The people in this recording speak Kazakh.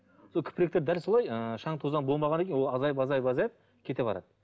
сол дәл солай ы шаң тозаң болмағаннан кейін ол азайып азайып азайып кете барады